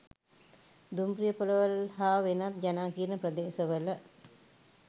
දුම්රියපොළවල් හා වෙනත් ජනාකීර්ණ ප්‍රදේශවල